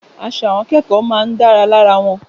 Aṣọ àwọn akẹ́kọ̀ọ́ máa ń dára lára wọn.